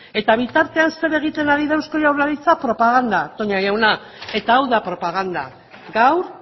eta bitartean zer egiten ari da eusko jaurlaritzak propaganda toña jauna eta hau da propaganda gaur